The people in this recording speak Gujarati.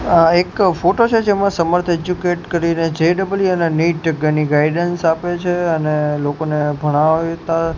આ એક ફોટો છે જેમાં સમર્થ એજ્યુકેટ કરીને જે ડબલ ઇ અને નીટ ઘણી ગાઈડન્સ આપે છે અને લોકોને ભણાવતા--